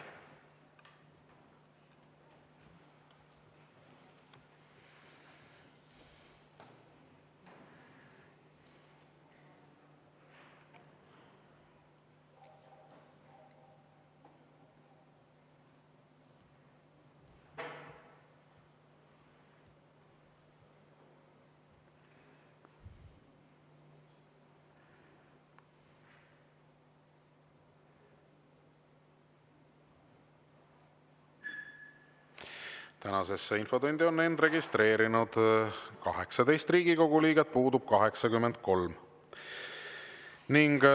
Tänasesse infotundi on end registreerinud 18 Riigikogu liiget, puudub 83.